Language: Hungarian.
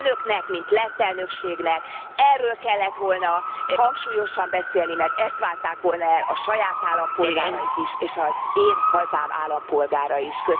Önöknek, mint lett elnökségnek, erről kellett volna hangsúlyosan beszélni, mert ezt várták volna el a saját állampolgárai is és az én hazám állampolgárai is.